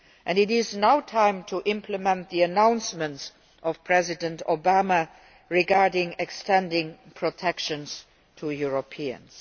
It is now time to implement the announcements of President Obama regarding extending protection to Europeans.